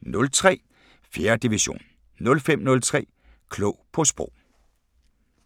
01:03: 4. division 05:03: Klog på Sprog